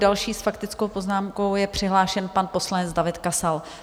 Další s faktickou poznámkou je přihlášen pan poslanec David Kasal.